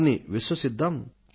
వారిని విశ్వసిద్దాం